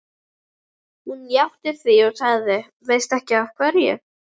Hún játti því og sagði: Veistu ekki af hverju?